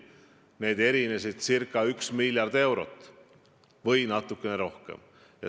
Need erinesid ca üks miljard eurot või natukene rohkem.